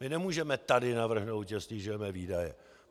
My nemůžeme tady navrhnout, že snižujeme výdaje.